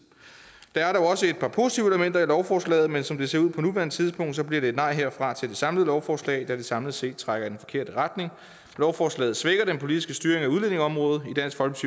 der er dog også et par positive elementer i lovforslaget men som det ser ud på nuværende tidspunkt bliver det et nej herfra til det samlede lovforslag da det samlet set trækker i den forkerte retning lovforslaget svækker den politiske styring af udlændingeområdet i dansk